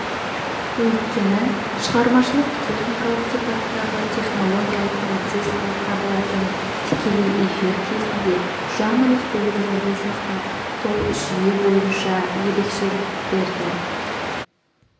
өйткені шығармашылық-техникалық сипаттағы технологиялық процесс болып табылатын тікелей эфир кезінде жанрлық белгілерді сақтап сол жүйе бойынша ерекшеліктерді